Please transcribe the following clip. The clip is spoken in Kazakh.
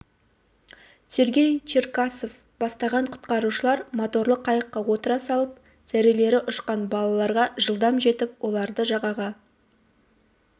сергей черкасов бастаған құтқарушылар моторлы қайыққа отыра салып зәрелері ұшқан балаларға жылдам жетіп оларды жағаға